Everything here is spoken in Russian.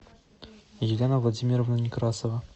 елена владимировна некрасова